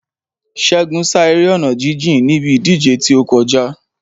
Ṣégun sá eré ọ̀nà jíjìn níbi ìdíje tí ó kọjá.